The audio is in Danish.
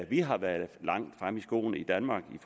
vi har været langt fremme i skoene i danmark i